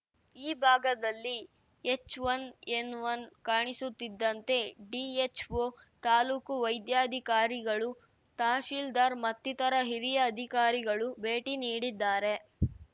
ಈ ಭಾಗದಲ್ಲಿ H one N one ಕಾಣಿಸುತ್ತಿದ್ದಂತೆ ಡಿಎಚ್‌ಒ ತಾಲೂಕು ವೈದ್ಯಾಧಿಕಾರಿಗಳು ತಹಸೀಲ್ದಾರ್‌ ಮತ್ತಿತರ ಹಿರಿಯ ಅಧಿಕಾರಿಗಳು ಭೇಟಿ ನೀಡಿದ್ದಾರೆ